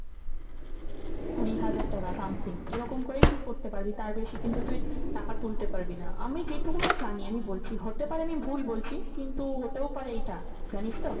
কুড়ি হাজার টাকা something এরকম করেই তুই করতে পারবি। তার বেশি কিন্তু তুই টাকা তুলতে পারবি না। আমি যেটুকুটা জানি আমি বলছি, হতে পারে আমি ভুল বলছি কিন্তু হতেও পারে এটা। জানিস তো?